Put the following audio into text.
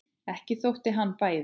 Ekki þótt hann bæði.